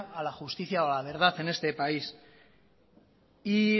a la justicia o a la verdad en este país y